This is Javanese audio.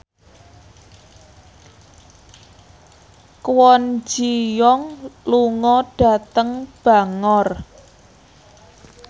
Kwon Ji Yong lunga dhateng Bangor